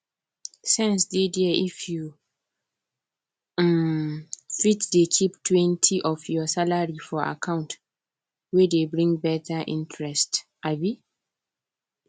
sense dey there if you um fit dey keeptwentyof your salary for account wey dey bring better interest um